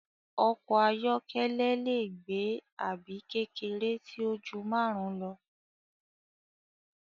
Ọkọ̀ ayọ́kẹ́lẹ́ lẹ gbé àbí kékeré tíó jù márùn lọ.